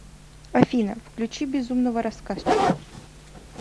афина включи безумного рассказчика